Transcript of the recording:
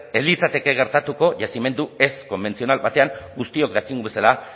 ez litzateke gertatuko yazimendu ez konbentzional batean guztiok dakigun bezala